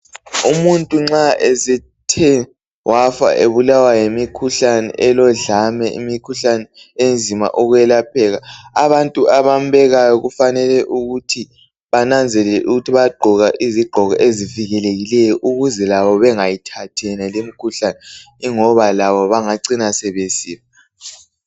Umuntu nxa esethe wafa, ebulawa yimikhuhlane elodlame, imikhuhlane enzima ukwelapheka , abantu abambekayo kufanele ukuthi bananzelele ukuthi bayagqoka izigqoko ezivikelekileyo. Ukuze labo bengayithathi lemikhuhlane, ingoba labo bangacina sebesifa.